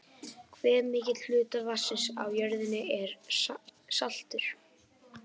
Hve mikill hluti vatnsins á jörðinni er saltur?